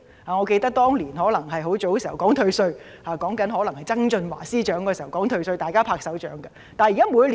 我猶記得，當年推出退稅措施時——可能是曾俊華出任司長的年代——大家均拍手稱好。